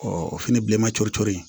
o fɛnɛ bilenman coro cori